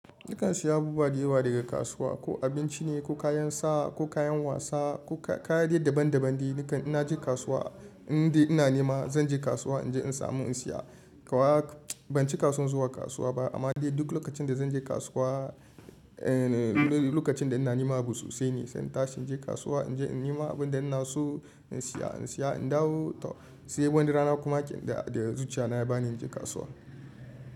Nikan siyo abubuwa da yawa daga kasuwa, ko abinci ne, ko kayan sa, ko kayan wasa, ko kaya dai daban-daban dai. Nikan inna je kasuwa, indai ina nema zan je kasuwa in je in samu in siya. Kawai, ban cika san zuwa kasuwa ba amma dai duk lokacin da zan je kasuwa, lokacin da ina nema abu sosai ne. Sai in tashi in je kasuwa in je in nema abun da ina so in siya, in siya, in dawo. Sai wani rana kuma da zuciya na ya bani in je kasuwa.